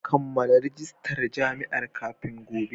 Kammala rajistar jami'a kafin gobe